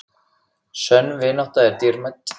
Sönn vinátta er dýrmæt.